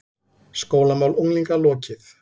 SKÓLAMÁL UNGLINGA LOKIÐ